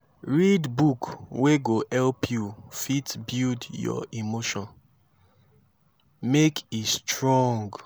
read book wey go help yu fit build yur emotion mek e strong